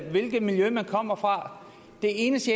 hvilket miljø man kommer fra det eneste